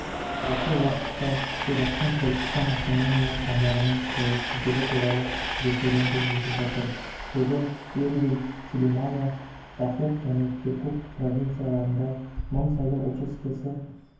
осы уақытта ирактың күрдістан автономиялық аумағының тәуелсіздігі туралы референдум өтіп жатыр бүгін эрбил сүлеймания дахук және киркук провинцияларында мың сайлау учаскесі